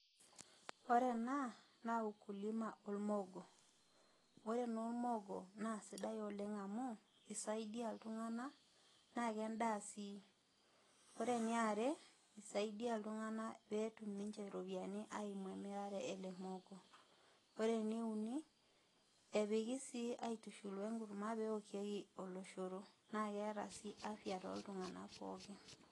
Kore ena naa ukulima olmoogo, ore naa olmoogo naa sidai oleng' amu keisaidia iltuna naa ke endaa sii. Ore ene are naa eisaidia ninye iltungana pee etum iropiani eimu emirare enye ele moogo. ore ene uni, epiki sii aitushul we enkurma pee eokieki oloshoro naa keata sii afya too iltuna pookin.